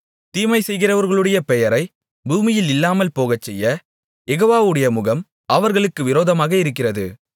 தீமைசெய்கிறவர்களுடைய பெயரைப் பூமியில் இல்லாமல் போகச்செய்ய யெகோவாவுடைய முகம் அவர்களுக்கு விரோதமாக இருக்கிறது